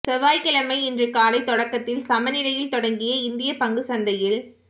செவ்வாய் கிழமை இன்று காலை தொடக்கத்தில் சமநிலையில் தொடங்கிய இந்திய பங்குச்சந்தையில்